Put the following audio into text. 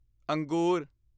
ਅੰਗੂਰ